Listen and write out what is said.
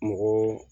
Mɔgɔ